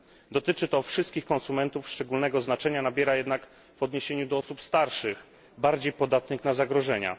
Dotyczy to wszystkich konsumentów, szczególnego znaczenia nabiera jednak w odniesieniu do osób starszych, bardziej podatnych na zagrożenia.